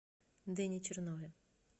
дэне чернове